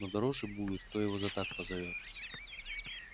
но дороже будет кто его за так повезёт